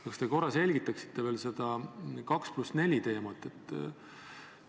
Kas te korra selgitaksite veel seda 2 + 4 teemat?